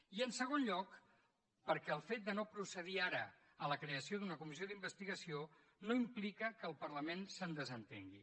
i en segon lloc perquè el fet de no procedir ara a la creació d’una comissió d’investigació no implica que el parlament se’n desentengui